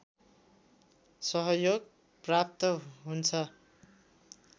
सहयोग प्राप्त हुन्छ